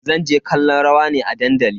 Zan je kallon rawa ne a dandali.